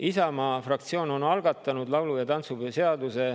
Isamaa fraktsioon ongi laulu‑ ja tantsupeo seaduse algatanud.